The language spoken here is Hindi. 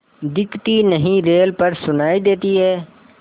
दिखती नहीं रेल पर सुनाई देती है